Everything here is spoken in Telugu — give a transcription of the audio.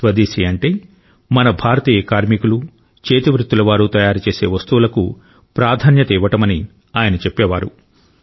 స్వదేశీ అంటే మన భారతీయ కార్మికులు చేతివృత్తులవారు తయారుచేసే వస్తువులకు ప్రాధాన్యత ఇవ్వడమని ఆయన చెప్పేవారు